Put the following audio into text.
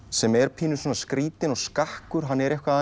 sem er skrítinn og skakkur hann er eitthvað